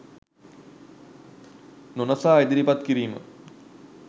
නොනසා ඉදිරිපත් කිරීම